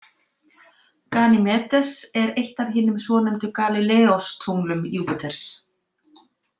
Ganýmedes er eitt af hinum svonefndu Galíleóstunglum Júpíters.